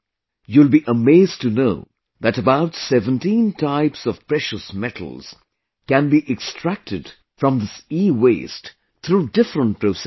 You will be amazed to know that about 17 types of Precious Metals can be extracted from this EWaste through different processes